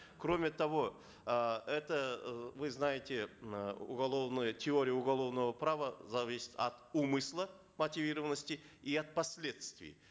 кроме того э это э вы знаете э уголовный теорию уголовного права за весь акт умысла мотивированности и от последствий